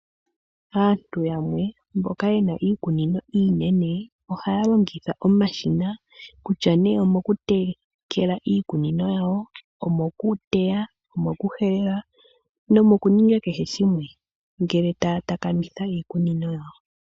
Aantu yamwe mboka yena iikunino iinene, ohaya longitha omashina kutya omokutekela iikunino yawo , omokuteya, nayilwe ngele taya takamitha iikunino yawo.